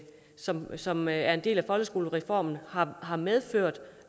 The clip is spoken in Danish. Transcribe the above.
som som er en del af folkeskolereformen har har medført